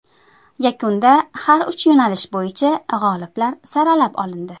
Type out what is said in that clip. Yakunda har uch yo‘nalish bo‘yicha g‘oliblar saralab olindi.